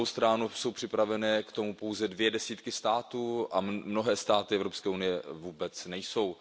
Na druhou stranu jsou k tomu připraveny pouze dvě desítky států a mnohé státy Evropské unie vůbec nejsou.